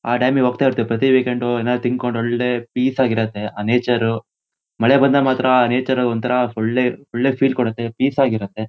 ಆ ಡ್ಯಾಮ್ ಗೆ ಹೋಗ್ತಾ ಇರ್ತಿವಿ. ಪ್ರತಿ ವೀಕೆಂಡ್ ಏನಾದ್ರು ತಿನ್ಕೊಂಡು ಒಳ್ಳೆ ಪೀಸ್ ಆಗಿ ಇರುತ್ತೆ ಆ ನೇಚರು .ಮಳೆ ಬಂದಾಗ ಮಾತ್ರ ಆ ನೇಚರು ಒಂತರ ಒಳ್ಳೆ ಒಳ್ಳೆ ಫೀಲ್ ಕೊಡುತ್ತೆ. ಪೀಸ್ ಆಗಿ ಇರುತ್ತೆ.